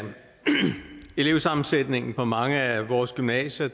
elevsammensætningen på mange af vores gymnasier